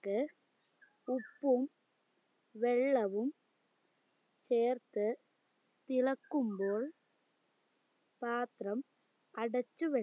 ക്ക് ഉപ്പും വെള്ളവും ചേർത്ത് ഇളക്കുമ്പോൾ പാത്രം അടച്ചുവെ